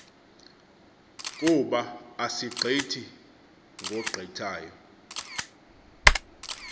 kub asigqithi ngogqithayo